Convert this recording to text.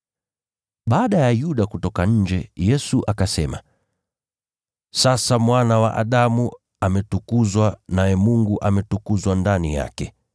Baada ya Yuda kutoka nje, Yesu akasema, “Sasa Mwana wa Adamu ametukuzwa, naye Mungu ametukuzwa ndani yake.